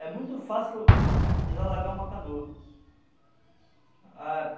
É muito fácil desalagar uma canoa. A